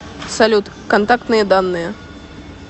салют контактные данные